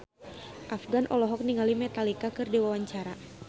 Afgan olohok ningali Metallica keur diwawancara